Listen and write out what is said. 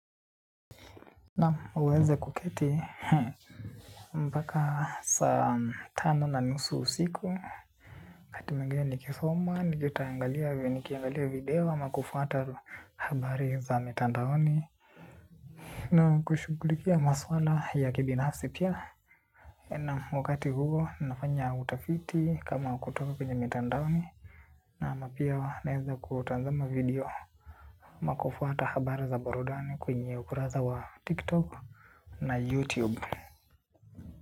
Naam uweze kuketi, mpaka saa tano na nusu usiku wangati mwingine nikisoma, nikiangalia video, ama kufuata habari za mitandaoni. Naam kushughulikia maswala ya kibinafsi pia. Naam wakati huo, nafanya utafiti kama kutoka kwenya mitandaoni. Naam pia naeza kutanzama video ama kufuata habari za burudani kwenye ukurasa wa tiktok na youtube.